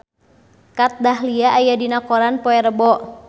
Kat Dahlia aya dina koran poe Rebo